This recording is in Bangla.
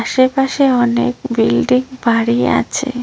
আশেপাশে অনেক বিল্ডিং বাড়ি আছে।